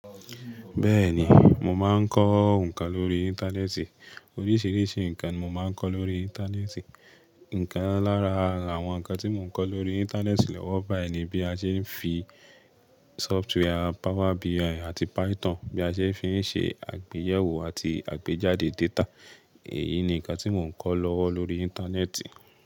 Bẹ́ẹ̀ni, mo máa ń kọ́ nǹkan lórí Íńtánẹ́ẹ̀tì. Oríṣìíríṣìí nǹkan ni mo máa ń kọ́ lórí Íńtánẹ́ẹ̀tì. Ǹkan lára àwọn nǹkan tí mo ń kọ́ lórí Íńtánẹ́ẹ̀tì lọ́wọ́ báyìí ni bí a ṣe n fi sọftíwàre Power BI àti Python bí a ṣe fi ń ṣe àgbéyẹ̀wò àti àgbéjáde data. Èyí ni nǹkan tí mo ń kọ́ lọ́wọ́ lórí Íńtánẹ́ẹ̀tì.